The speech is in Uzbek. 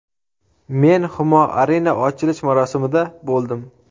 Men Humo Arena ochilish marosimida bo‘ldim.